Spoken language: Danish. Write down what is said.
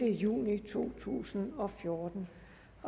juni to tusind og fjorten